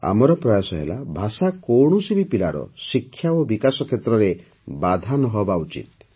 ଆମର ପ୍ରୟାସ ହେଲା ଭାଷା କୌଣସି ବି ପିଲାର ଶିକ୍ଷା ଓ ବିକାଶ କ୍ଷେତ୍ରରେ ବାଧା ନ ହେବା ଉଚିତ